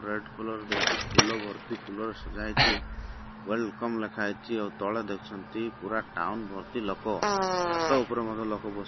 red colour ଦିଆ ହେଇଚି ଫୁଲ ବର୍ତି ଫୁଲରେ ସଜା ହେଇଚି ୱଲ୍କମ୍ ଲେଖା ହେଇଚି ଆଉ ତଳେ ଦେଖିଚନ୍ତି ପୁରା ଟାଉନ୍ ବର୍ତ ଲୋକ ଛାତ ଉପରେ ମଧ୍ୟ ଲୋକ ବସିଯ --